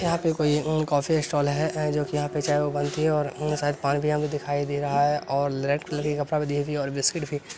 यहाँ पे कोई उम कॉफी स्टाल हैं। एं जो की यहाँ पर चाय ओए बनती है उम और शायद पानी भी हमें दिखाई दे रहा है और ले रेड कलर के कपड़ा भी दिखई दी और बिस्किट भी --